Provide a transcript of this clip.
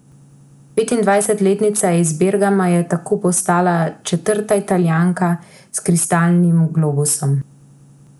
Petindvajsetletnica iz Bergama je tako postala četrta Italijanka s kristalnim globusom.